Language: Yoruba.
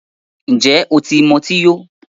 Ǹjẹ́ o ti mu ọtí yó?